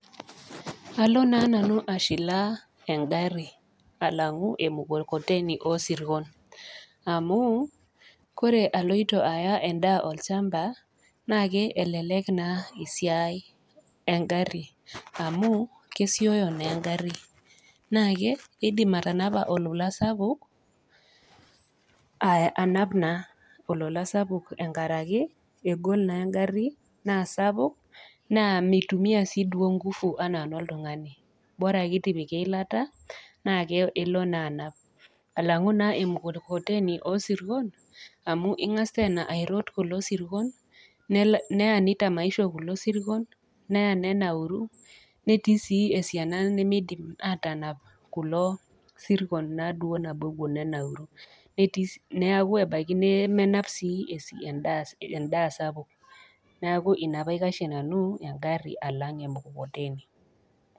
Alo naa nanu ashilaa engari alang'u emukokoteni osirkon amu, ore aloito aya endaa olchamba naake elelek esiai naa engari amu kesioyo naa engari. Naake eidim atanapa olola sapuk, anap naa olola sapuk engarake, egol naa engari naa sapuk naa meitumia sii inguvu ana noltung'ana. Bora ake itipika eilata naa elo naa anap. Alang'u naa emukokoteni oosirkon amu ing'as tena airot kulo sirkon neya neitamaisho kulo sirkon neya nenauru, netii sii esiana nemeidim atanap kulo sirkon naa duo nabo ewuo nenauru neaku ebaiki nemenap sii endaa sapuk, neaku ina paikashie nanu engari alang'u emukokoteni.